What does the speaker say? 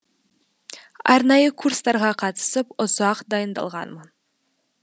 арнайы курстарға қатысып ұзақ дайындалғанмын